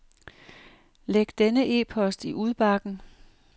Læg denne e-post i udbakken.